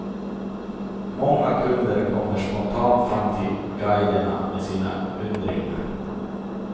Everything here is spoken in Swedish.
Många kunder kommer spontant fram till guiderna med sina undringar.